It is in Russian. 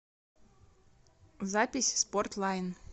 запись спорт лайн